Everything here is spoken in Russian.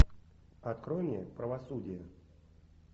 открой мне правосудие